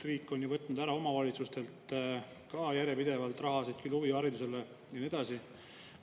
Riik on ju omavalitsustelt järjepidevalt rahasid ära võtnud, küll huvihariduselt ja nii edasi.